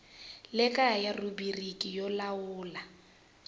le kaya rhubiriki yo lawula